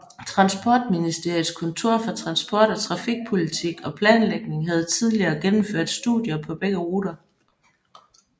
Transportministeriets Kontor for Transport og Trafikpolitik og Planlægning havde tidligere gennemført studier på begge ruter